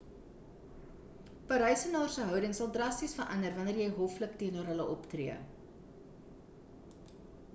parysenaars se houding sal drasties verander wanneer jy hoflik teenoor hulle optree